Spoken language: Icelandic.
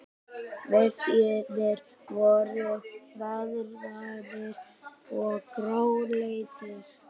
Veggirnir voru veðraðir og gráleitir.